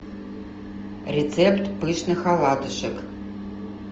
рецепт пышных оладушек